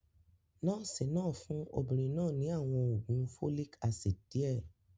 Nọ́ọ̀sì náà fún obìnrin náà ní àwọn oògùn folic acid díẹ̀.